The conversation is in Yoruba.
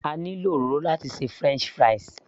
A ní lo òróró láti ṣe french fries